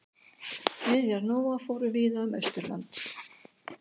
Niðjar Nóa fóru víða um Austurlönd.